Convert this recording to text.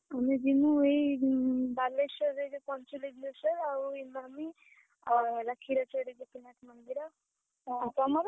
ଆମେ ଯିବୁ ଏଇ ବାଲେଶ୍ୱରରେ ଯୋଉ ପଞ୍ଚଲିଙ୍ଗେଶ୍ୱର ଆଉ ଇମାମି ଆଉ କ୍ଷୀରଚୋରା ଗୋପୀନାଥ ମନ୍ଦିର ଆଉ ତମର